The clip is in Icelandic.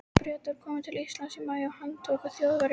Bretarnir komu til Íslands í maí og handtóku Þjóðverja.